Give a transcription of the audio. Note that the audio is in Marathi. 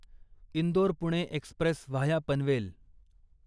Indore Pune express via Panvel